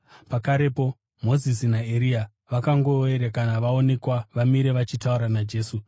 Pakarepo Mozisi naEria vakangoerekana voonekwa vamire vachitaura naJesu.